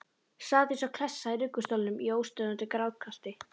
Sat eins og klessa í ruggustólnum í óstöðvandi grátkasti.